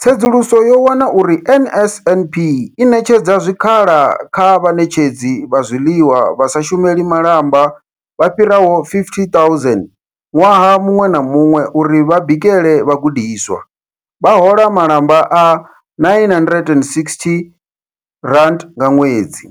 Tsedzuluso yo wana uri NSNP i ṋetshedza zwikhala kha vhaṋetshedzi vha zwiḽiwa vha sa shumeli malamba vha fhiraho 50 000 ṅwaha muṅwe na muṅwe uri vha bikele vhagudiswa, vha hola malamba a R960 nga ṅwedzi.